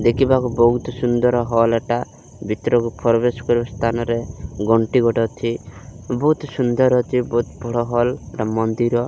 ଦେଖିବାକୁ ବୋହୁତ୍ ସୁନ୍ଦର୍ ହଲ୍ ଟା। ଭିତରକୁ ପ୍ରବେଶ କରିବା ସ୍ଥାନରେ ଘଣ୍ଟି ଗୋଟେ ଅଛି। ବୋହୁତ୍ ସୁନ୍ଦର୍ ଅଛି। ବୋହୁତ୍ ବଡ଼ ହଲ୍ ପୁରା ମନ୍ଦିର।